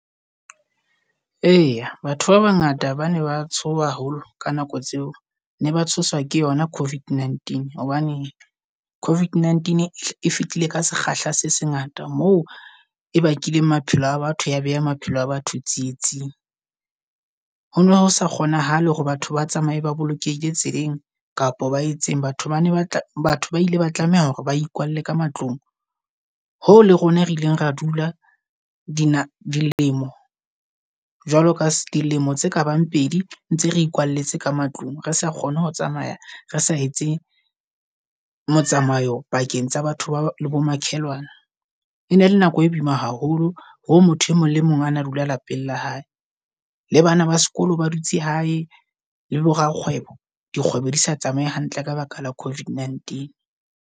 Eya batho ba bangata bane ba tshoha haholo ka nako tseo, ne ba tshoswa ke yona COVID-19. Hobane COVID-19 e fitile ka sekgahla se sengata mo e bakileng maphelo a batho ya beha maphelo a batho tsietsing. Ho no hosa kgonahale hore batho ba tsamaye ba bolokehile tseleng kapa ba etseng. Batho bana ba batho ba ile ba tlameha hore ba ikwalle ka matlong. Hoo le rona re ileng ra dula di na dilemo jwalo ka dilemo tse ka bang pedi ntse re ikwalletse ka matlong. Re sa kgone ho tsamaya, re sa etse motsamayo pakeng tsa batho ba le bo makhelwane. Ene ele nako e boima haholo ho motho e mong le mong a na dula lapeng la hae. Le bana ba sekolo ba dutse hae. Le bo Rakgwebo dikgwebo di sa tsamaye hantle ka baka la COVID-19.